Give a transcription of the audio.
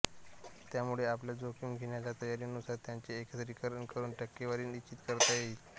त्यामुळे आपल्या जोखीम घेण्याच्या तयारीनुसार त्यांचे एकत्रीकरण करून टक्केवारी निश्चित करता येईल